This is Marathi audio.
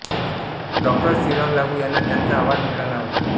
डॉ श्रीराम लागू यांना त्यांचा आवाज मिळाला होता